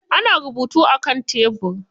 Ana rubutu a kan tebir.